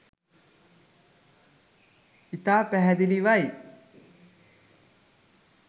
ඉතා පැහැදිලිවයි